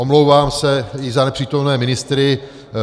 Omlouvám se i za nepřítomné ministry.